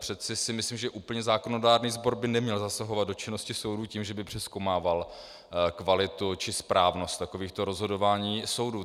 Přeci si myslím, že úplně zákonodárný sbor by neměl zasahovat do činnosti soudů tím, že by přezkoumával kvalitu či správnost takovýchto rozhodování soudů.